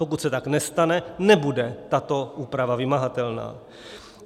Pokud se tak nestane, nebude tato úprava vymahatelná.